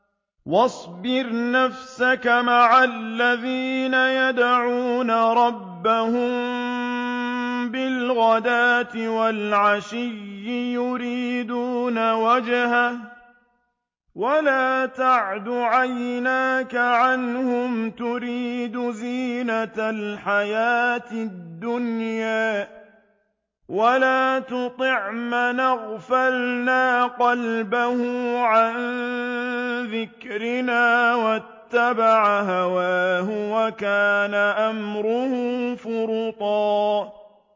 وَاصْبِرْ نَفْسَكَ مَعَ الَّذِينَ يَدْعُونَ رَبَّهُم بِالْغَدَاةِ وَالْعَشِيِّ يُرِيدُونَ وَجْهَهُ ۖ وَلَا تَعْدُ عَيْنَاكَ عَنْهُمْ تُرِيدُ زِينَةَ الْحَيَاةِ الدُّنْيَا ۖ وَلَا تُطِعْ مَنْ أَغْفَلْنَا قَلْبَهُ عَن ذِكْرِنَا وَاتَّبَعَ هَوَاهُ وَكَانَ أَمْرُهُ فُرُطًا